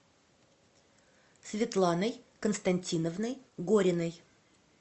светланой константиновной гориной